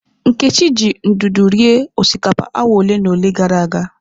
Nkechi ji ndụdụ rie osikapa awa ole na ole gara aga.